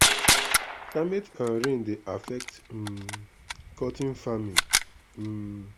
climate and rain dey affect um cotton farming. um